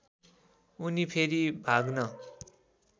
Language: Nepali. उनी फेरि भाग्न